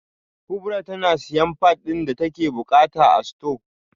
kubra tana siyan pad din da take bukata a store